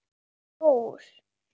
Rætast úr?